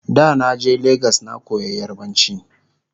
da na je legas na koya yarbanci